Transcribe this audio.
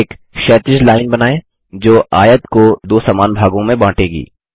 एक क्षैतिज लाइन बनाएँ जो आयत को दो समान भागों में बाँटेगी